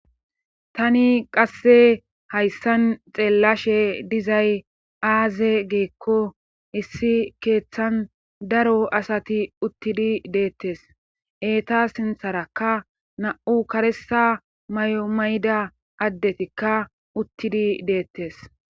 Tani qasse hayssan xeellashe dizay aaze geekko issi keeththan daro asati uttidi deettes eeta sintharakka na7u karesa may7omay7da addetikka uttidi deettes.